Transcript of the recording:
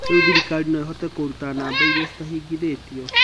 "Riû thirikari noo ihote kũrũta namba iricitangihingwo.